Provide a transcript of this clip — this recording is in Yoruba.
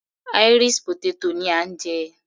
Irish potato ni à ń jẹ.